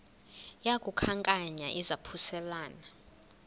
yaku khankanya izaphuselana